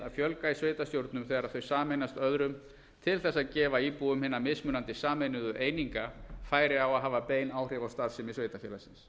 að fjölga í sveitarstjórnum þegar þau sameinast öðrum til að gefa íbúum hinna mismunandi sameinuðu eininga færi á að hafa bein áhrif á starfsemi sveitarfélagsins